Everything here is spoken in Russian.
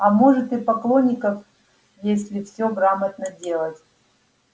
а может и поклонников если всё грамотно делать